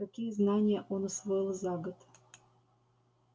какие знания он усвоил за год